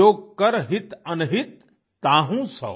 जो कर हित अनहित ताहू सों